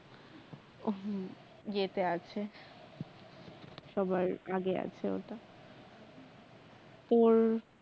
উহ হুম যেটা আছে সবার আগে আছে ওটা তো